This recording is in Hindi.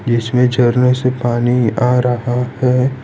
इसमें झरने से पानी आ रहा है।